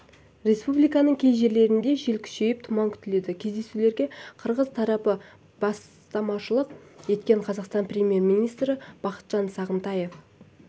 республиканың кей жерлерінде жел күшейіп тұман күтіледі кездесуге қырғыз тарапы бастамашылық еткен қазақстан премьер-министрі бақытжан сағынтаев